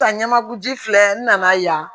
Ta ɲamaku ji filɛ n nana yan